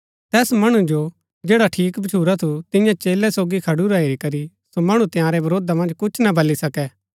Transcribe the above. तैस मणु जो जैडा ठीक भच्छुरा थू तियां चेलै सोगी खडुरा हेरी करी सो मणु तंयारै वरोधा मन्ज कुछ ना बली सके